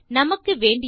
நமக்கு வேண்டியது